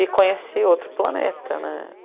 E conheci outro planeta, né?